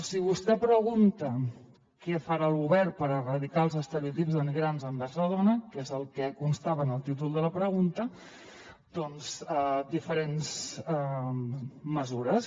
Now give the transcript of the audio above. si vostè pregunta què farà el govern per erradicar els estereotips denigrants envers la dona que és el que constava en el títol de la pregunta doncs diferents mesures